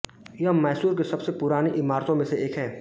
यह मैसूर की सबसे पुरानी इमारतों में से एक है